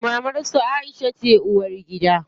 Mamar su Aisha ce uwargida.